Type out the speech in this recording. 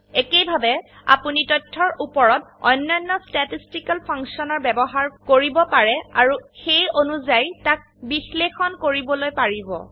একেইভাবে আপোনি তথ্যৰ ওপৰত অন্যান্য statisticalফাংশন ব্যবহাৰ কৰিব পাৰে আৰু সেই অনুযায়ী তাক বিশ্লেষণ কৰিবলৈ পাৰিব